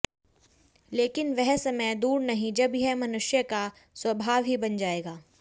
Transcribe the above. लेकिन वह समय दूर नहीं जब यह मनुष्य का स्वभाव ही बन जाएगा